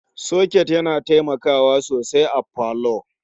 Soket yana taimakawa sosai a parlour.